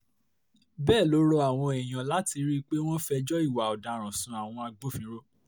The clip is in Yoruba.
bẹ́ẹ̀ ló rọ àwọn èèyàn láti rí i pé wọ́n ń fẹjọ́ ìwà ọ̀daràn sún àwọn agbófinró